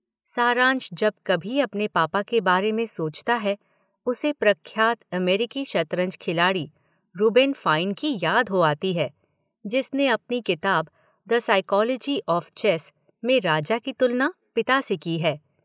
सारांश जब कभी अपने पापा के बारे में सोचता है उसे प्रख्यात अमेरिकी शतरंज खिलाड़ी रुबेन फाइन की याद हो आती है जिसने अपनी किताब 'द साइकोलॉजी ऑफ चेस' में राजा की तुलना पिता से की है।